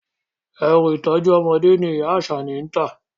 Ẹrù ìtọ́jú ọmọdé ni ìyá Àṣàní ń tà